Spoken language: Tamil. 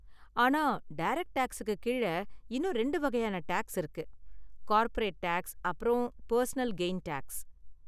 ஆனா டேரக்ட் டேக்ஸுக்கு கீழ இன்னும் ரெண்டு வகையான டேக்ஸ் இருக்கு: கார்ப்பரேட் டேக்ஸ் அப்பறம் பர்சனல் கெய்ன் டேக்ஸ்.